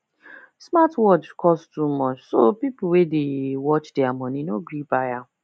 smartwatch cost too much so people wey dey watch their money no gree buy am